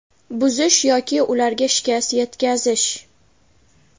buzish yoki ularga shikast yetkazish:.